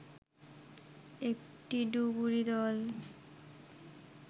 একটি ডুবুরী দল